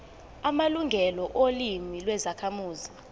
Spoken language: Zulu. amalungelo olimi lwezakhamuzi